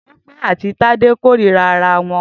Tope àtí Tade kórìrà àrà wọn